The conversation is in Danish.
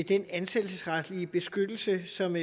den ansættelsesretlige beskyttelse som